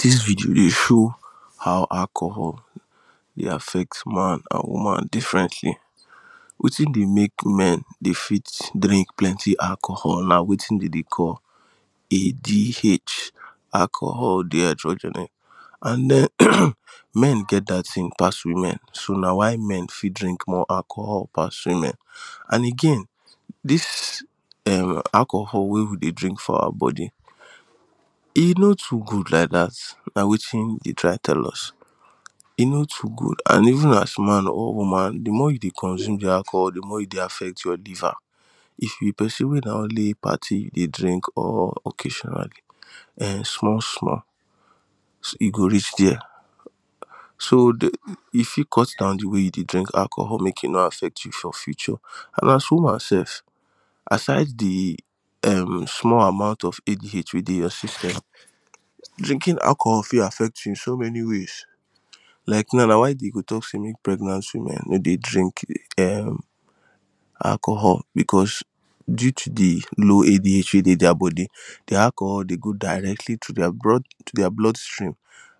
This video dey show how alcohol dey affect man and woman differently wetin dey make men dey fit drink plenty alcohol na wetin dem dey call ADH Alcohol dehydrogenase and um men get that thing pass women so na why men fit drink more alcohol pass women and again this um alcohol wey we dey drink for our body e no too good like that na wetin e dey try tell us e no too good and even as man or woman the more you dey consume the alcohol the more you dey affect your liver if you be pesin wey na only party you dey drink or occasionally um small small you go reach there so the you fit cut down the way you dey drink alcohol make e no affect you for future and as woman sef aside the um small amount of ADH wey dey your system drinking alcohol for affect you in so many ways like now na why dey go talk say make pregnant woman no dey drink um alcohol because due to the low ADH wey dey their body the alcohol dey go directly to the to their blood blood Stream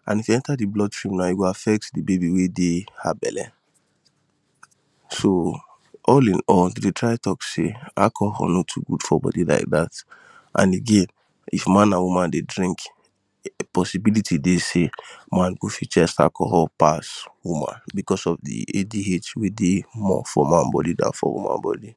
and if e enter the blood stream now e go affect the baby wey dey her belle so all in all dem dey try talk say alcohol no too good for body like that and again if man and woman dey drink possibility dey say man go fit chess alcohol pass woman because of the ADH wey dey more for man body than for woman body